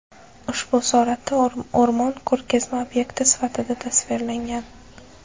Ushbu suratda o‘rmon ko‘rgazma obyekti sifatida tasvirlangan.